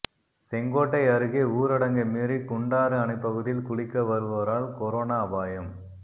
செங்கோட்டை அருகே ஊரடங்கை மீறி குண்டாறு அணைப்பகுதியில் குளிக்க வருவோரால் கொரோனா அபாயம்